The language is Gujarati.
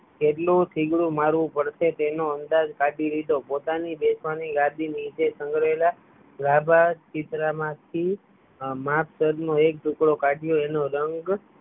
કેટલું થીગડું મારવું પડશે તેનો અંદાજ કાઢી લીધો પોતાની બેનપણી લાડી નીચે સંગ્રેલ ગાભા ચિતરા માંથી માપસર નો એક ટુકડો કાઢ્યો એનો રંગ